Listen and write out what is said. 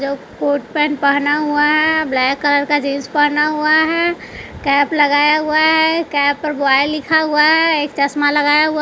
जो coat pant पहना हुआ है ब्लैक कलर का जींस पहना हुआ है कैप लगाया हुआ है कैप पर बॉय लिखा हुआ है एक चश्मा लगाया हुआ।